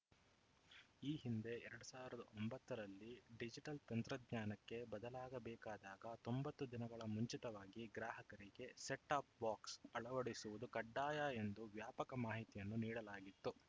ಈ ಹಿಂದೆ ಎರಡ್ ಸಾವಿರದ ಒಂಬತ್ತರಲ್ಲಿ ಡಿಜಿಟಲ್‌ ತಂತ್ರಜ್ಞಾನಕ್ಕೆ ಬದಲಾಗಬೇಕಾದಾಗ ತೊಂಬತ್ತು ದಿನಗಳ ಮುಂಚಿತವಾಗಿ ಗ್ರಾಹಕರಿಗೆ ಸೆಟ್‌ ಟಾಪ್‌ ಬಾಕ್ಸ್‌ ಅಳವಡಿಸುವುದು ಕಡ್ಡಾಯ ಎಂದು ವ್ಯಾಪಕ ಮಾಹಿತಿಯನ್ನು ನೀಡಲಾಗಿತ್ತು